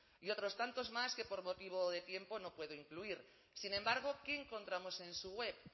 y otros tantos más que por motivo de tiempo no puedo incluir sin embargo qué encontramos en su web